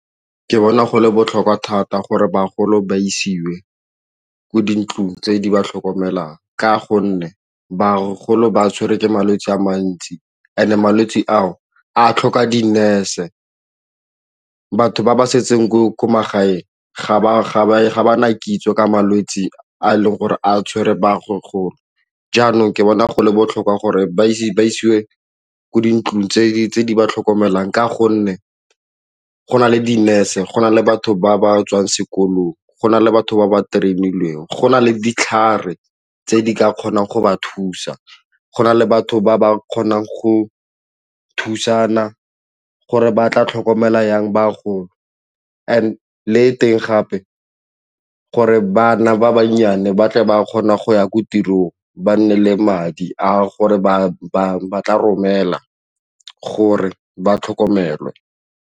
Ke bona go le botlhokwa thata gore bagolo ba isiwe kwa dintlong tse di ba tlhokomelang ka gonne bagolo ba tshwere ke malwetse a mantsi and-e malwetse ao a tlhoka di-nurse. Batho ba ba setseng ko magaeng ga ba na kitso ka malwetse a leng gore a tshwere bagolo jaanong ke bona go le botlhokwa gore ba ise ba isiwe kwa dintlong tse ba tlhokomelang ka gonne go na le di-nurse, go na le batho ba ba tswang sekolong go na le batho ba ba train-ilweng, go na le ditlhare tse di ka kgonang go ba thusa, go na le batho ba ba kgonang go thusana gore ba tla tlhokomelang bagolo le ko teng gape gore bana ba bannyane ba tle ba kgona go ya ko tirong ba nne le madi a gore ba tla romelwa gore ba tlhokomelwe.